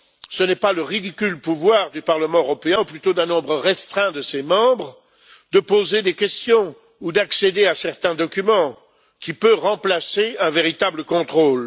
Ce n'est pas le ridicule pouvoir du Parlement européen, ou plutôt d'un nombre restreint de ses membres, de poser des questions ou d'accéder à certains documents qui peut remplacer un véritable contrôle.